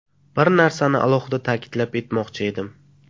Bir narsani alohida ta’kidlab etmoqchi edim.